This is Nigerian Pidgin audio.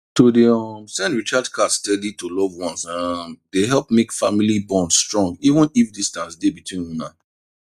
to dey um send recharge card steady to loved ones um dey help make family bond strong even if distance dey between una